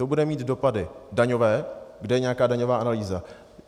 To bude mít dopady daňové - kde je nějaká daňová analýza?